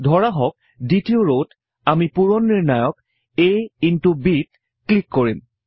ধৰা হওঁক দ্বিতীয় ৰত আমি পূৰণ নিৰ্ণায়ক এ ইণ্টু বিত ক্লিক কৰিম